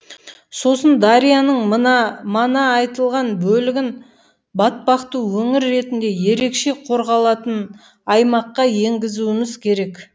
сосын дарияның мана айтылған бөлігін батпақты өңір ретінде ерекше қорғалатын аймаққа енгізуіміз керек